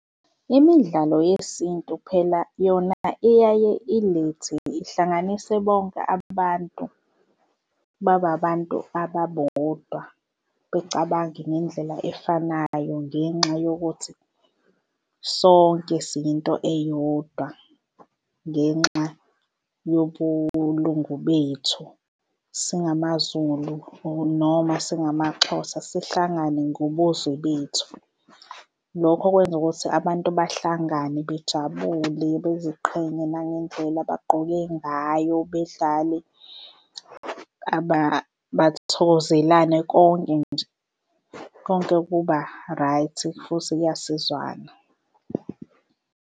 Imidlalo yesintu phela yona iyaye ilethe ihlanganise bonke abantu babe abantu ababodwa, bacabange ngendlela efanayo ngenxa yokuthi sonke siyinto eyodwa, ngenxa yobulungu bethu singamaZulu or noma singamaXhosa sihlangane ngobuzwe bethu. Lokho okwenza ukuthi abantu bahlangane bejabule beziqhenye nangendlela abagqoke ngayo bedlale bathokozelane konke nje konke kuba-right futhi kuyasizwana.